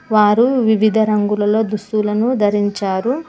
వారు వివిధ రంగులలో దుస్తులను ధరించారు.